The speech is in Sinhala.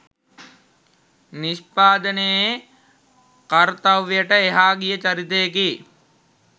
නිෂ්පාදනයේ කර්තව්‍යයට එහා ගිය චරිතයකි